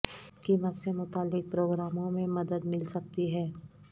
قیمت سے متعلق پروگراموں میں مدد مل سکتی ہے